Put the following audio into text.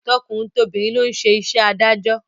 Tọkùnrin tobìnrin ló ń ṣe iṣẹ́ adájọ́